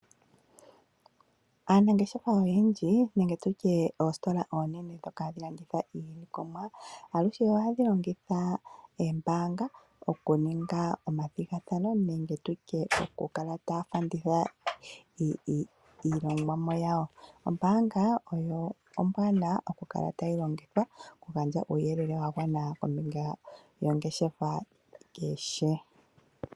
Aanangeshefa oyendji nenge oositola odhindji dhono hadhi landitha iilikolomwa aluhe ohadhi longitha oombaanga oku ninga omathigathano nenge okufanditha iilongomwa yawo. Ombaanga ombwaanawa oku kala tayi longithwa oku gandja uuyelele wa gwana kombinga yongeshefa kehe.